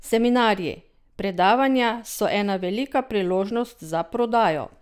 Seminarji, predavanja so ena velika priložnost za prodajo.